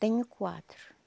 Tenho quatro.